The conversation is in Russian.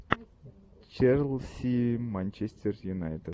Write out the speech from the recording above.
челси манчестер юнайтед